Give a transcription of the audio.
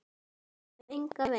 Svo sem engan veginn